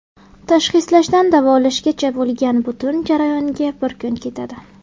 Tashxislashdan davolashgacha bo‘lgan butun jarayonga bir kun ketadi.